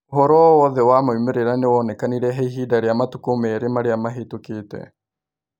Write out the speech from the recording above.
Ũhoro o wothe wa moimĩrĩra nĩũwonekanĩre he ĩhinda rĩa matukũ merĩ marĩa mahĩtũkĩte